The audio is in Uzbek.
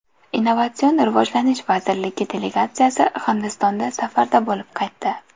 Innovatsion rivojlanish vazirligi delegatsiyasi Hindistonda safarda bo‘lib qaytdi.